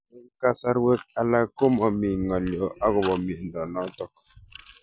Eng'kasarwek alak ko mami ng'alyo akopo miondo notok